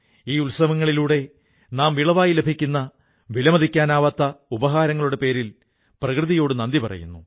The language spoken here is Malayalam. ഈ ഉത്സവങ്ങളിലൂടെ നാം വിളവായി ലഭിക്കുന്ന വിലമതിക്കാനാവാത്ത ഉപഹാരങ്ങളുടെ പേരിൽ പ്രകൃതിയോടു നന്ദി പറയുന്നു